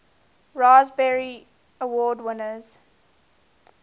raspberry award winners